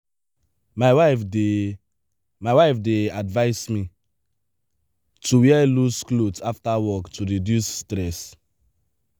my wife dey my wife dey advise me to wear loose clothes after work to reduce stress.